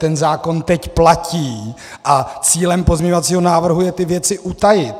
Ten zákon teď platí a cílem pozměňovacího návrhu je ty věci utajit.